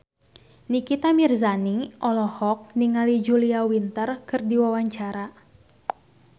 Nikita Mirzani olohok ningali Julia Winter keur diwawancara